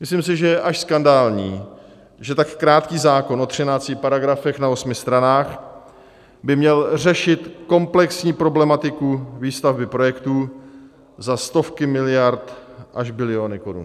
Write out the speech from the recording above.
Myslím si, že je až skandální, že tak krátký zákon o 13 paragrafech na 8 stranách by měl řešit komplexní problematiku výstavby projektů za stovky miliard až biliony korun.